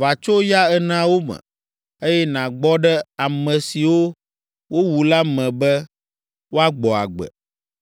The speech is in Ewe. va tso ya eneawo me, eye nàgbɔ ɖe ame siwo wowu la me be woagbɔ agbe.’ ”